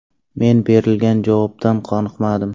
Men berilgan javobdan qoniqmadim.